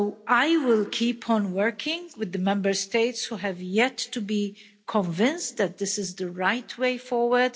I will keep on working with the Member States who have yet to be convinced that this is the right way forward.